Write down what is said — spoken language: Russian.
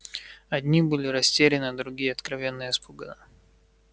одни были растеряны другие откровенно испуганы